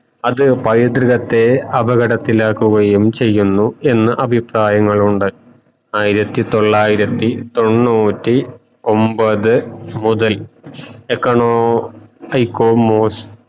പൈതൃകത്തെ അപകടത്തിലാകുകയും ചെയുന്നു എന്ന അഭിപ്രായാങ്ങളുണ്ട് ആയിരത്തി തൊള്ളായിരത്തി തോണ്ണൂറ്റി ഒമ്പത് മുതൽ econo